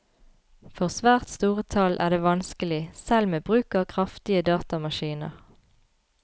For svært store tall er det vanskelig, selv med bruk av kraftige datamaskiner.